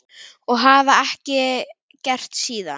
Og hafa ekki gert síðan.